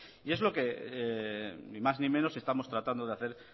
y es lo que ni más ni menos estamos tratando de hacer